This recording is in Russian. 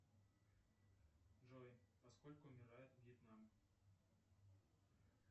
джой во сколько умирает вьетнам